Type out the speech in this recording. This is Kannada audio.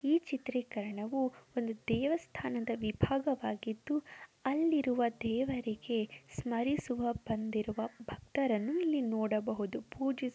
ಈ ಚಿತ್ರೀಕರಣವು ಒಂದು ದೇವಸ್ಥಾನದ ವಿಭಾಗವಾಗಿದ್ದು ಅಲ್ಲಿರುವ ದೇವರಿಗೆ ಸ್ಮರಿಸುವ ಬಂದಿರುವ ಭಕ್ತರನ್ನು ಇಲ್ಲಿ ನೋಡಬಹುದು ಪೂಜಿಸು --